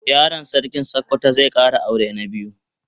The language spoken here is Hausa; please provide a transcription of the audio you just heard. Yaron sarkin sokoto zai Kara aure na biyu